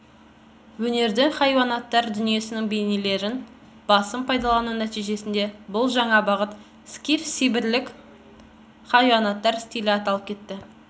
өнердің хайуанаттар дүниесінің бейнелерін басым пайдалану нәтижесінде бұл жаңа бағыт скиф-сибирлік хайуанаттар стилі аталып кетті